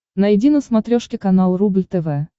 найди на смотрешке канал рубль тв